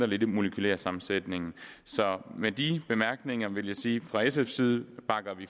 lidt i den molekylære sammensætning så med de bemærkninger vil jeg sige fra sfs side